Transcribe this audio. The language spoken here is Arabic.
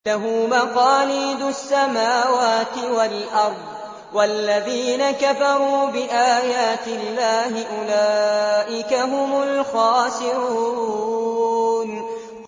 لَّهُ مَقَالِيدُ السَّمَاوَاتِ وَالْأَرْضِ ۗ وَالَّذِينَ كَفَرُوا بِآيَاتِ اللَّهِ أُولَٰئِكَ هُمُ الْخَاسِرُونَ